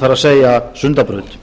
það er sundabraut